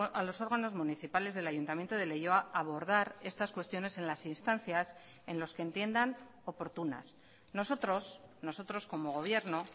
a los órganos municipales del ayuntamiento de leioa abordar estas cuestiones en las instancias en los que entiendan oportunas nosotros nosotros como gobierno